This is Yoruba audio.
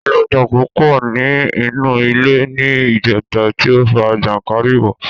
Aláǹtakùn pọ ní inú ilé ní ìjẹta tí ó fa jànkárìwọ̀